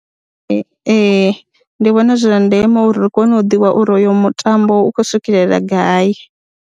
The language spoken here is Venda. Ee, ndi vhona zwi zwa ndeme uri ri kone u ḓivha uri oyo mutambo u khou swikelela gai.